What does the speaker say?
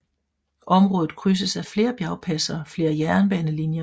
Området krydses af flere bjergpas og flere jernbanelinjer